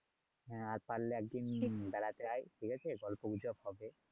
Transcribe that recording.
আর পারলে একদিন বেড়াতে আয় ঠিক আছে? পরে পুরসিরপ হবে